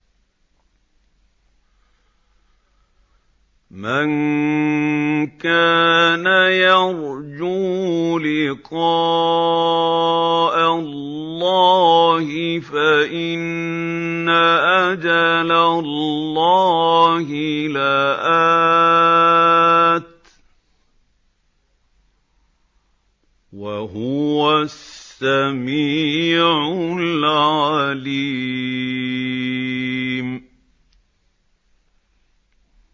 مَن كَانَ يَرْجُو لِقَاءَ اللَّهِ فَإِنَّ أَجَلَ اللَّهِ لَآتٍ ۚ وَهُوَ السَّمِيعُ الْعَلِيمُ